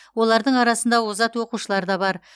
олардың арасында озат оқушылар да бар